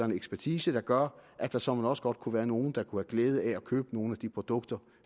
og ekspertise der gør at der såmænd også godt kunne være nogle der kunne have glæde af at købe nogle af de produkter